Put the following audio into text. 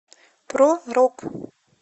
про рок